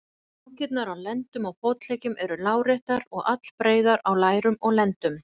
Rákirnar á á lendum og fótleggjum eru láréttar og allbreiðar á lærum og lendum.